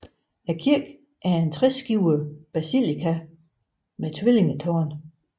Kirken er en treskibet basilika med tvillingetårne